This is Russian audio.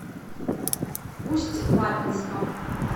усть лабинском